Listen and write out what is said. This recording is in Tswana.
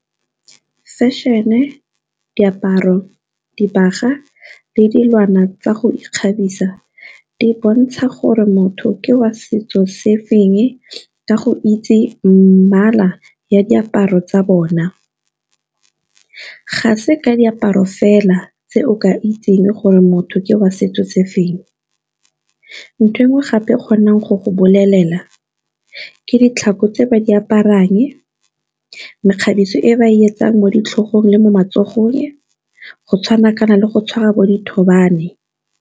Fashion-e, diaparo, dibaga le dilwana tsa go ikgabisa di bontsha gore motho ke wa setso se feng, ka go itse mmala ya diaparo tsa bona. Ga se diaparo fela tse o ka itseng gore motho ke wa setso tse feng, ntho e ngwe gape kgonang go go bolelela ke ditlhako tse ba di aparang, mekgabiso e ba e etsang mo ditlhagong le mo matsogong, go tshwana kana le go tshwara bo dithobane.